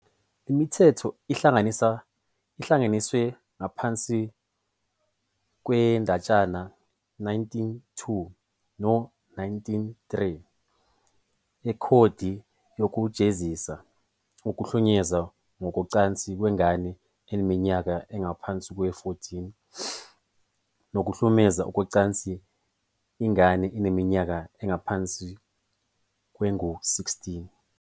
Le mithetho ihlanganiswe ngaphansi kwendatshana 192 no-193 yekhodi yokujezisa - ukuhlukunyezwa ngokocansi kwengane eneminyaka engaphansi kwengu-14, nokuhlukumeza ngokocansi ingane eneminyaka engaphansi kwengu-16.